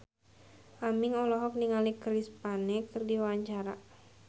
Aming olohok ningali Chris Pane keur diwawancara